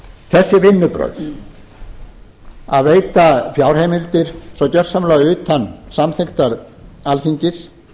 þessi vinnubrögð að veita fjárheimildir svo gjörsamlega utan samþykktar alþingis